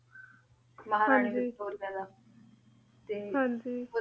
ਹਾਂਜੀ ਮਹਾਰਾਨੀ ਵਿਕਟੋਰਿਆ ਦਾ ਤੇ ਹਾਂਜੀ